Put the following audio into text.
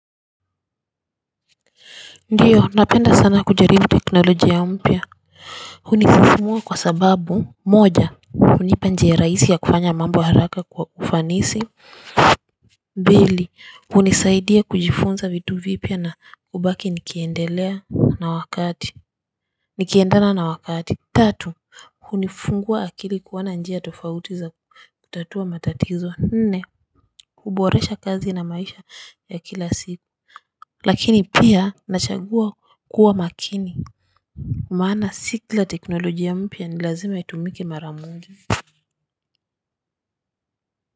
Ndio napenda sana kujaribu teknolojia ya mpya hunifumua kwa sababu moja hunipa njia rahisi ya kufanya mambo haraka kwa ufanisi mbili hunisaidia kujifunza vitu vipya na hubaki nikiendelea na wakati nikiendana na wakati tatu hunifungua akili kuona njia tofauti za kutatua matatizo nne huboresha kazi na maisha ya kila siku. Lakini pia nachagua kuwa makini. Maana si kila teknolojia mpya ni lazima itumike mara moja.